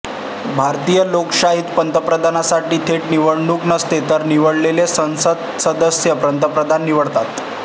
भारतीय लोकशाहीत पंतप्रधानपदासाठी थेट निवडणुक नसते तर निवडलेले संसदसदस्य पंतप्रधान निवडतात